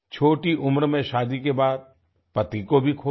छोटी उम्र में शादी के बाद पति को भी खो दिया